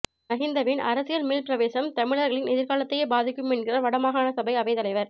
மஹிந்தவின் அரசியல் மீள் பிரவேசம் தமிழர்களின் எதிர்காலத்தையே பாதிக்கும் என்கிறார் வடமாகாண சபை அவைத் தலைவர்